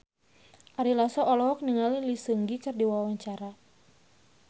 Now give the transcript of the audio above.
Ari Lasso olohok ningali Lee Seung Gi keur diwawancara